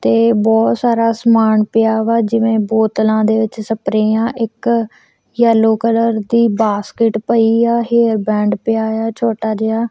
ਤੇ ਬੋਹੁਤ ਸਾਰਾ ਸਮਾਨ ਪਿਆ ਵਾ ਜਿਵੇਂ ਬੋਤਲਾਂ ਦੇ ਵਿੱਚ ਸਪਰੇਯਾ ਇੱਕ ਯੇਲੋ ਕਲਰ ਦੀ ਬਾਸਕੇਟ ਪਈ ਆ ਹੇਅਰ ਬੈਂਡ ਪਿਆ ਯਾ ਛੋਟਾ ਜੇਹਾ।